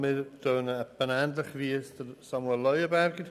Wir klingen ähnlich wie Grossrat Leuenberger.